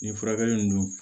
Nin furakɛli in dun